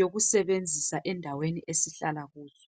yokusebenzisa endaweni esihlala kuyo.